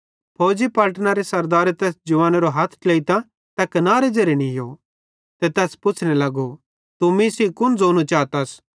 फौजी पलटनरे सरदारे तैस जवानेरो हथ ट्लेइतां तै कनारे ज़ेरे नीयो ते तैस पुच्छ़ने लगो तू मीं सेइं कुन ज़ोनू चातस